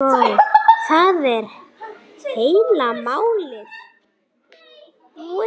Sækir í sig veðrið.